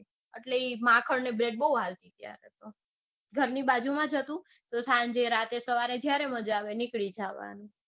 એટલે ઈ માખણ ને bred બૌ હાલતી ત્યારે તો. ઘરની બાજુમાં જ હતું તો સાંજે સવારે જયારે મજા આવે નીકળી જવાનું.